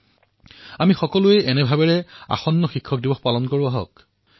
অনাগত শিক্ষক দিৱস আমি সকলোৱে এই ভাৱনাৰ সৈতে পালন কৰিম